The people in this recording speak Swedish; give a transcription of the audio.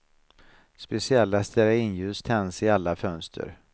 Speciella stearinljus tänds i alla fönster.